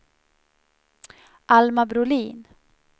Alma Brolin